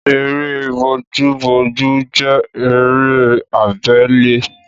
Eré bojúbojú jẹ́ eré abele